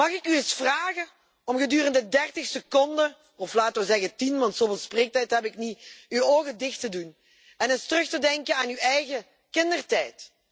Mag ik u eens vragen om gedurende 30 seconden, of laten we zeggen 10 want zoveel spreektijd heb ik niet, uw ogen dicht te doen en eens terug te denken aan uw eigen kindertijd?